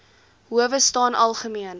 howe staan algemeen